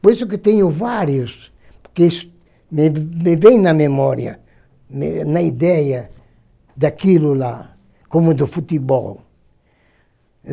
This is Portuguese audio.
Por isso que tenho vários, porque isso me me vem na memória, me na ideia daquilo lá, como do futebol.